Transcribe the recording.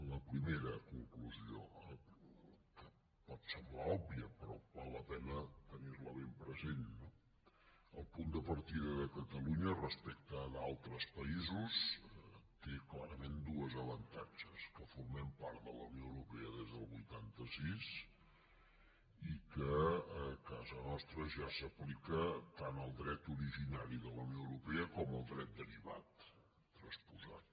la primera conclusió que pot semblar òbvia però val la pena tenir ne ben present no el punt de partida de catalunya respecte d’altres països té clarament dos avantatges que formem part de la unió europea des del vuitanta sis i que a casa nostra ja s’aplica tant el dret originari de la unió europea com el dret derivat transposat